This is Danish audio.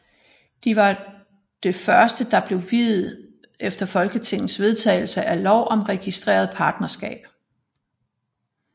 De var det første der blev viet efter folketingets vedtagelse af lov om registreret partnerskab